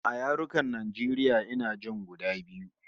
A yarukan Najeriya ina jin guda biyu